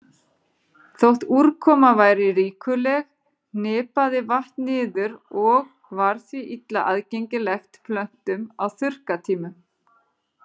Þótt úrkoma væri ríkuleg hripaði vatn niður og var því illa aðgengilegt plöntum á þurrkatímum.